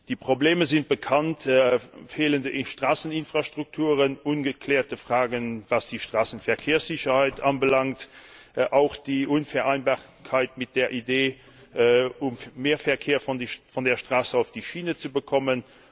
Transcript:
Die Probleme sind bekannt fehlende Straßeninfrastrukturen, ungeklärte Fragen, was die Straßenverkehrssicherheit anbelangt, auch die Unvereinbarkeit mit der Idee, mehr Verkehr von der Straße auf die Schiene zu bekommen.